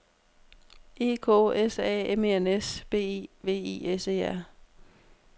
E K S A M E N S B E V I S E R